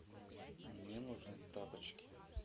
мне нужны тапочки